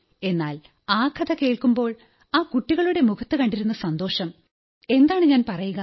എന്നാൽ ആ കഥ കേൾക്കുമ്പോൾ ആ കുട്ടികളുടെ മുഖത്തു കണ്ടിരുന്ന സന്തോഷം എന്താണ് ഞാൻ പറയുക